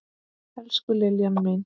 Elsku Liljan mín.